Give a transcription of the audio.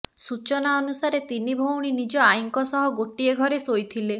ସୂଚନା ଅନୁସାରେ ତିନି ଭଉଣୀ ନିଜ ଆଇଙ୍କ ସହ ଗୋଟିଏ ଘରେ ଶୋଇଥିଲେ